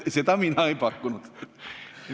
Seda mina ei pakkunud.